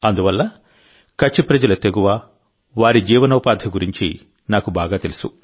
అందువల్ల కచ్ ప్రజల తెగువ వారి జీవనోపాధి గురించి నాకు బాగా తెలుసు